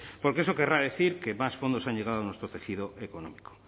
porque eso querrá decir que más fondos han llegado a nuestro tejido económico